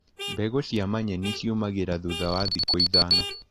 Mbegũ cia manyeni ciumagĩra thutha wa thikũ ithano.